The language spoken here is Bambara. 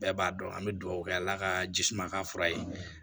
Bɛɛ b'a dɔn an bɛ dugawu kɛ ala ka jisuma ka fura ye